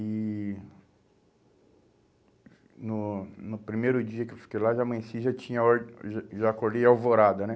E no no primeiro dia que eu fiquei lá, já amanheci, já tinha or, já já acordei alvorada, né?